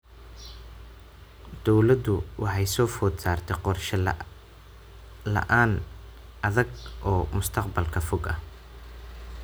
Dawladdu waxa soo food saartay qorshe la�aan adag oo mustaqbalka fog ah.